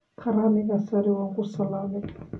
Karaaniga sare waa ku salaamay